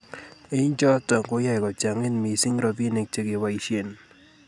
eng choto koyae kochangit mising robinik chegebaishen